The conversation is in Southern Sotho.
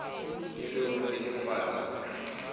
e le ho nnetefatsa hore